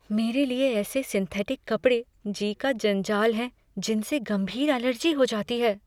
मेरे लिए ऐसे सिंथेटिक कपड़े जी का जंजाल हैं जिनसे गंभीर अलर्जी हो जाती है।